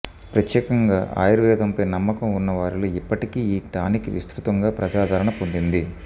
ప్రత్యేకంగా ఆయుర్వేదంపై నమ్మకం ఉన్నవారిలో ఇప్పటికీ ఈ టానిక్ విస్తృతంగా ప్రజాదరణ పొందింది